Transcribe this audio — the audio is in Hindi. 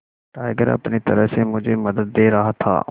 टाइगर अपनी तरह से मुझे मदद दे रहा था